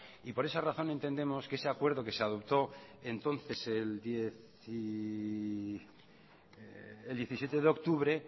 por esa razón entendemos que ese acuerdo que se adoptó entonces el diecisiete de octubre